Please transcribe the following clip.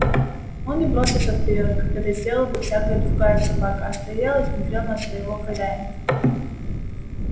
он не бросился вперёд как это сделала бы всякая другая собака а стоял и смотрел на своего хозяина